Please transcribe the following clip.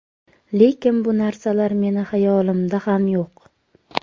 Lekin bu narsalar meni xayolimda ham yo‘q.